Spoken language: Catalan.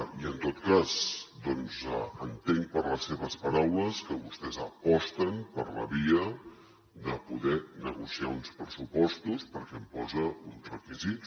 i en tot cas entenc per les seves paraules que vostès aposten per la via de poder negociar uns pressupostos perquè imposa uns requisits